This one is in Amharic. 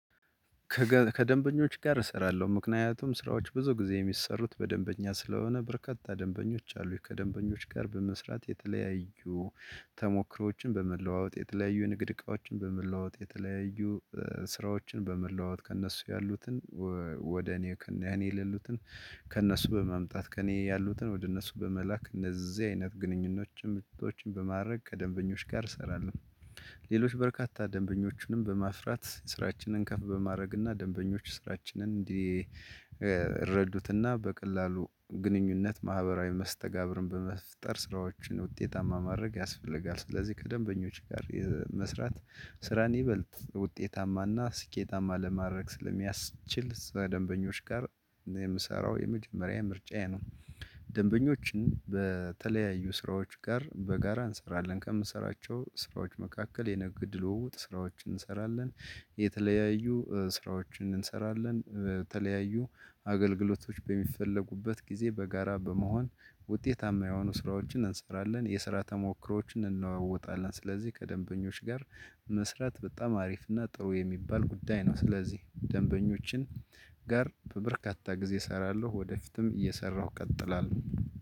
ከደንበኞች ጋር እሰራለሁ ምክንያቱም ስራዎች ብዙ ጊዜ የሚሰሩት በደንበኛ ስለሆነ በርካታ ደንበኞች አሉኝ ከደንበኞች ጋር በመስራት የተለያዩ ተሞክሮዎችን በመለዋወጥ የተለያዩ ንግድ እቃዎችን በመለዋወጥ የተለያዩ ስራዎችን በመለዋወጥ ከእነሱ ያሉትን ወደ እኔ ከእኔ የሌሉትን ከእነሱ በማምጣት ከእኔ ያሉትን ወደ እነሱ በመላክ እነዚህ አይነት ግንኙነቶችን በማድረግ ከደንበኞች ጋር እሰራለሁ። ሌሎች በርካታ ደንበኞችንም በማስራት ስራችንን ከፍ በማድረግና ደንበኞች ስራችንን እንዲረዱትና በቀላሉ ግንኙነት ማህበራዊ መስተጋብርን በመፍጠር ስራዎችን ውጤታማ ማድረግ ያስፈልጋል። ስለዚህ ከደንበኞች ጋር መስራት ስራን ይበልጥ ውጤታማና ስኬታማ ለማድረግ ስለሚያስችል ስራ ደንበኞች ጋር የምሰራው የመጀመሪያ ምርጫዬ ነው። ደንበኞችን በተለያዩ ስራዎች ጋር በጋራ እንሰራለን ከምሰራቸው ስራዎች መካከል የንግድ ልውውጥ ስራዎችን እንሰራለን። የተለያዩ ስራዎችን እንሰራለን በተለያዩ አገልግሎቶች በሚፈለጉበት ጊዜ በጋራ በመሆን ውጤታማ የሆኑ ስራዎችን እንሰራለን። የስራ ተሞክሮዎችን እንለዋወጣለን ስለዚህ ከደንበኞች ጋር መስራት በጣም አሪፍ እና ጥሩ የሚባል ጉዳይ ነው። ስለዚህ ደንበኞችን ጋር በበርካታ ጊዜ እሰራለሁ ወደፊትም እየሰራሁ ቀጥላለሁ።